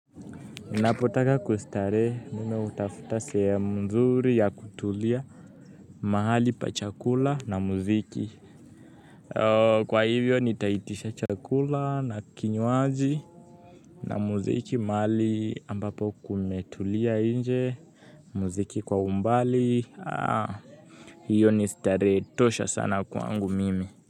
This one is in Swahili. Napotaka kustarehe mimi hutafuta seya mzuri ya kutulia, mahali pa chakula na muziki. Kwa hivyo nitaitisha chakula na kinywaji. Na muziki mahali ambapo kumetulia nje, muziki kwa umbali. Hiyo ni starehe tosha sana kwangu mimi.